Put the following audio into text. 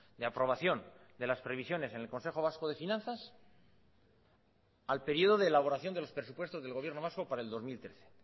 de aprobación de las previsiones en el consejo vasco de finanzas al periodo de elaboración de los presupuestos del gobierno vasco para el dos mil trece